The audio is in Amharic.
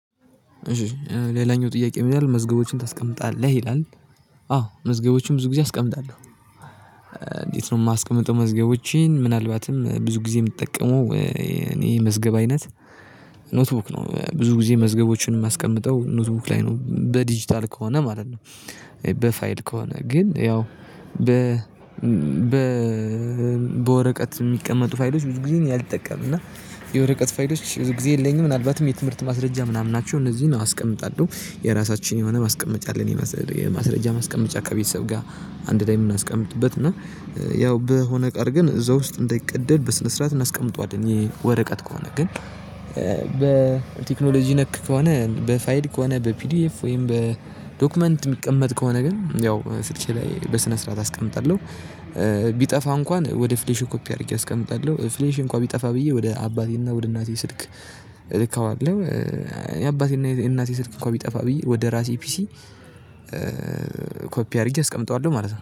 እሺ ሌላኛው ጥያቄ ምን ይላል መዝገቦችን ታስቀምጣለህ ይላል? አዎ መዝገቦችን ብዙ ጊዜ አስቀምጣለሁ። እንዴት ነው የማስቀምጠው? መዝገቦችን ምናልባትም ብዙ ጊዜ የምትጠቀመው። እኔ መዝገብ አይነት ኖትቡክ ነው ብዙ ጊዜ መዝገቦችን የማስቀምጠው ኖትቡክ ላይ ነው በዲጂታል ከሆነ ማለት ነው። በፋይል ከሆነ ግን ያው በ በ በወረቀት የሚቀመጡ ፋይሎች ብዙ ጊዜ እኔ አልጠቀምም። እና የወረቀት ፋይሎች ብዙ ጊዜ የለኝም። ምናልባትም የትምህርት ማስረጃ ምናምን ናቸው እነዚህን አስቀምጣለሁ። የራሳችን የሆነ ማስቀመጫ አለን። የማስረጃ ማስቀመጫ ከቤተሰብ ጋር አንድ ላይ የምናስቀምጥበት እና ያው በሆነ ቀር ግን እዛ ውስጥ እንዳይቀደድ በስነ ስርዓት እናስቀምጠዋለን። ወረቀት ከሆነ ግን በቴክኖሎጂ ነክ ከሆነ በፋይል ከሆነ በፒዲኤፍ ወይም በዶክመንት የሚቀመጥ ከሆነ ግን ያው ስልኬ ላይ በስነ ስርዓት አስቀምጣለሁ። ቢጠፋ እንኳን ወደ ፍሌሹ ኮፒ አድርጌ አስቀምጣለሁ ፍሌሹ እንኳን ቢጠፋ ብዬ ወደ አባቴና ወደ እናቴ ስልክ ልከዋለሁ። የአባቴና የእናቴ ስልክ እኮ ቢጠፋ ብዬ ወደ ራሴ ፒሲ ኮፒ አድርጌ አስቀምጠዋለሁ ማለት ነው